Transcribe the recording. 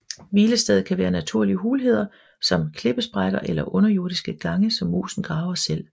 Hvilestedet kan være naturlige hulheder som klippesprækker eller underjordiske gange som musen graver selv